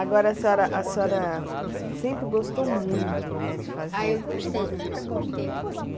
Agora, a senhora, a senhora, sempre gostou muito, né, de fazer... Ah, eu gostei, sempre gostei.